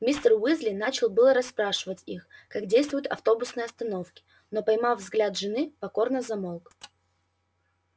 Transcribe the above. мистер уизли начал было расспрашивать их как действуют автобусные остановки но поймав взгляд жены покорно замолк